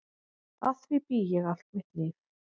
Að því bý ég allt mitt líf.